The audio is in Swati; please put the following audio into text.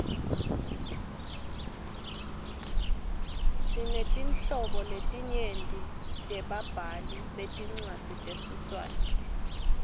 sinetinhlobo letinyenti tebabhali betincwadzi tesiswati